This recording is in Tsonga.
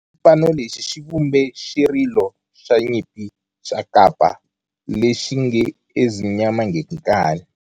Xipano lexi xi vumbe xirilo xa nyimpi xa kampa lexi nge 'Ezimnyama Ngenkani'.